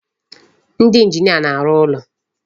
Ndị engineer na-arụ ụlọ.